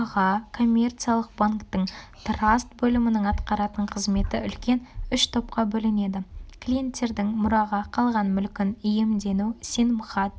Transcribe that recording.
коммерциялық банктің траст бөлімінің атқаратын қызметі үлкен үш топқа бөлінеді клиенттердің мұраға қалған мүлкін иемдену сенімхат